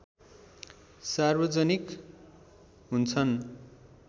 सार्वजनिक हुन्छन्